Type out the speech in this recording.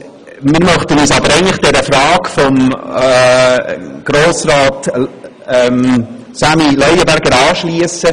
Wir möchten uns aber der Frage von Grossrat Leuenberger zu den Kosten anschliessen.